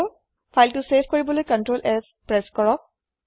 file save কৰিবলৈ CtrlS press কৰক